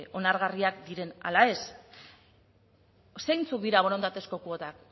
onargarriak diren ala ez zeintzuk dira borondatezko kuotak